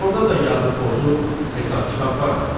Orda da yazı pozur, hesab-kitab var axı.